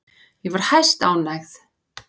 Ég var hæstánægð.